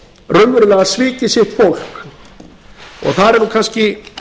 raunverulega svikið sitt fólk þar er kannski